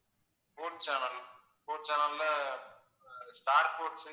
sports channel sports channel ல ஆஹ் Star sports